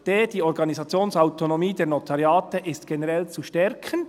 Dann: «Die Organisationsautonomie der Notariate ist generell zu stärken.